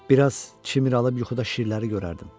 Biraz çimir alıb yuxuda şirləri görərdim.